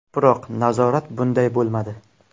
Biroq nazorat bunday bo‘lmadi.